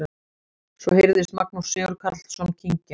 Svo heyrðist Magnús Sigurkarlsson kyngja.